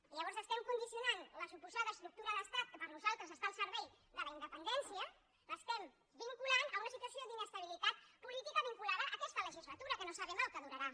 i llavors estem condicionant la suposada estructura d’estat que per a nosaltres està al servei de la independència a una situació d’inestabilitat política vinculada a aquesta legislatura que no sabem el que durarà